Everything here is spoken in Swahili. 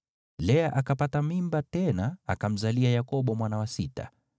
Lea akapata mimba tena akamzalia Yakobo mwana wa sita.